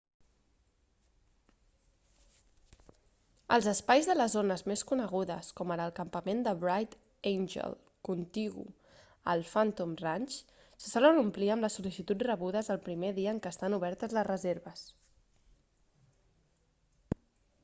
els espais de les zones més conegudes com ara el campament de bright angel contigu al phantom ranch se solen omplir amb les sol·licituds rebudes el primer dia en què estan obertes les reserves